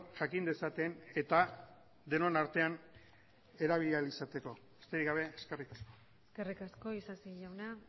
jakin dezaten eta denon artean erabili ahal izateko besterik gabe eskerrik asko eskerrik asko isasi jauna